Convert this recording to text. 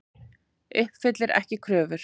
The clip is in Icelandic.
Uppfyllir ekki kröfur